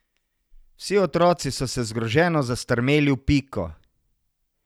Vsi otroci so se zgroženo zastrmeli v Piko.